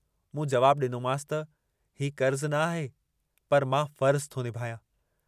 मूं जवाबु डिनोमांस त "हीउ कर्ज़ न आहे पर मां फ़र्जु थो निभायां।